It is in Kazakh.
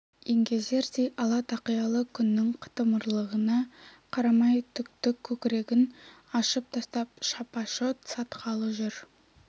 еңгезердей ала тақиялы күннің қытымырлығына қарамай түкті көкірегін ашып тастап шапа-шот сатқалы жүр